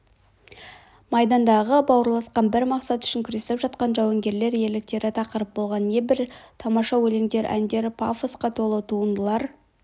майдандағы бауырласқан бір мақсат үшін күресіп жатқан жауынгерлер ерліктері тақырып болған небір тамаша өлеңдер әндер пафосқа толы туындылар